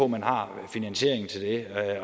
man har finansieringen til det